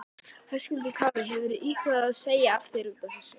Höskuldur Kári: Hefurðu íhugað að segja af þér útaf þessu?